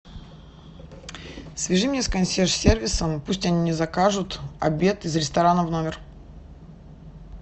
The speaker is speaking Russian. свяжи меня с консьерж сервисом пусть они мне закажут обед из ресторана в номер